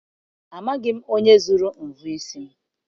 Amaghị m onye zuru mvọ isi m.